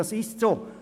Das ist so.